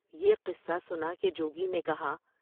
یہ قصہ سنا کے جوگی نے کہا ۔